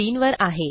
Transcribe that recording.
3 वर आहे